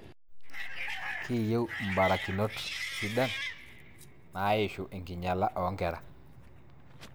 Kiyiu imbarakinot sidain naaishu enkinyala oonkera